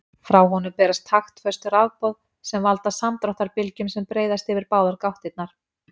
Frá honum berast taktföst rafboð sem valda samdráttarbylgjum sem breiðast yfir báðar gáttirnar.